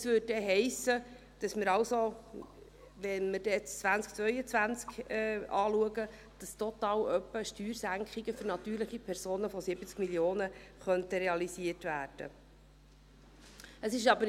Wenn wir dann das Jahr 2022 anschauen, hiesse dies also, dass Steuersenkungen für natürliche Personen von total etwa 70 Mio. Franken realisiert werden könnten.